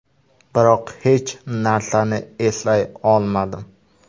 Biroq hech narsani eslay olmadim.